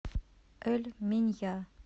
эль минья